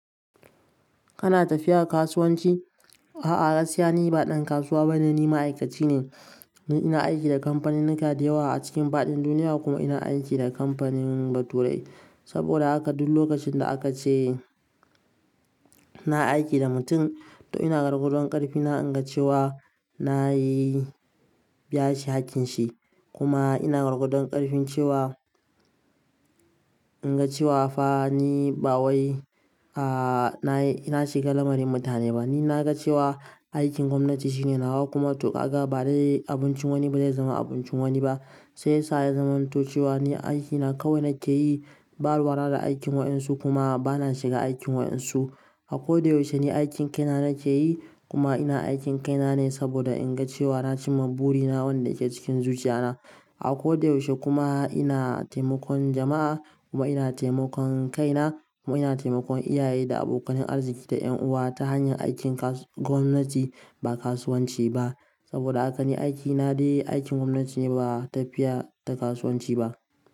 Kana tafiya kasuwanci? A'a gaskiya ni, ba ɗan kasuwa ba ne. Ni ma'aikaci ne, ina aiki da kamfanin Nika dayawa a cikin faɗin duniya kuma ina aiki da kamfanin baturai. Saboda haka duk lokacin da aka ce ina aiki da mutum to ina gargaɗan ƙarfi na inga cewa na yi biya shi hakkin shi kuma ina gargaɗon ƙarfin cewa inga cewa fa ni ba wai a'a ina shiga lamarin mutane ba. Ni na ga cewa aikin gwamnati shine nawa kuma toƙaƙa ba dai abincin wani ba zai zama abincin wani ba. Sai sa ya zamanto cewa ni aikina kawai nake yi, ba ruwa da aikin waɗansu kuma ba na shiga aikin waɗansu. A ko da yaushe ni aikin kaina nake yi kuma ina aikin kaina ne saboda inga cewa na ci maburi na wanda yake cikin zuciya na. A ko da yaushe kuma ina taimakon jama'a kuma ina taimakon kaina kuma ina taimakon iyaye da abokanin arziki da 'yan uwa ta hanyar aikin kas-- gwamnati ba kasuwanci ba. Saboda haka ni aikina dai aikin gwamnati ne ba tafiya ta kasuwanci ba.